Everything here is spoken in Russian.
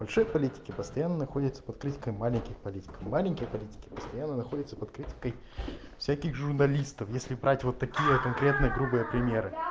большие политики постоянно находятся под критикой маленьких политиков маленькие политики постоянно находятся под критикой всяких журналистов если брать вот такие вот конкретно грубые примеры я